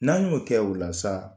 N'an y'o kɛ o la sa